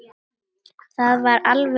Það var alveg óþarfi.